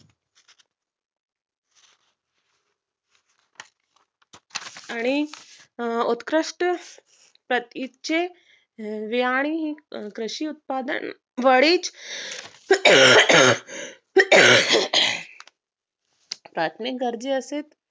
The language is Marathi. आणि उत्कृष्ट प्रतीचे ऱ्यांनी ही कृषी उत्पादन वढीच सात्मी गरजा असेल